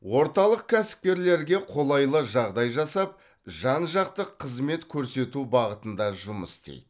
орталық кәсіпкерлерге қолайлы жағдай жасап жан жақты қызмет көрсету бағытында жұмыс істейді